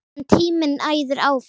En tíminn æðir áfram.